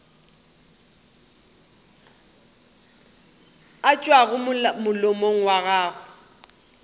a tšwago molomong wa gago